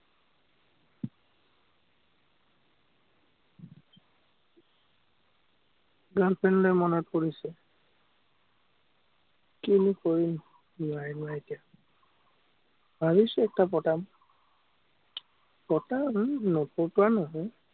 girl friend লে মনতপৰিছে। কিনো কৰিম খুৱাই-বুৱাই এতিয়া। ভাবিছো একটা পতাম। পতাম নপতোৱা নহয়।